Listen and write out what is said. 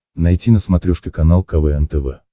найти на смотрешке канал квн тв